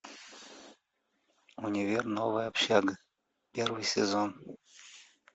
универ новая общага первый сезон